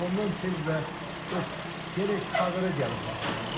Amma ondan tez də o gərək kadra gəlib bağlanır da.